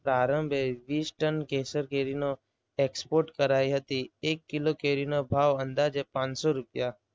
પ્રારંભે વીસ ટન કેસર કેરીનું export કરાઇ હતી. એક કિલો કેરીનો ભાવ અંદાજે પાંચસો રૂપિયા